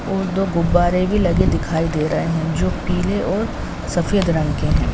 और दो गुब्बारें भी लगे दिखाई दे रहे हैं जो पीले और सफ़ेद रंग के हैं।